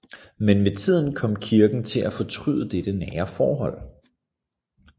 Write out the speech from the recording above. Men med tiden kom Kirken til at fortryde dette nære forhold